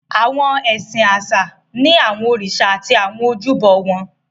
Awọn ẹsin aṣa ni awọn oriṣa ati àwọn ojúbo wọn.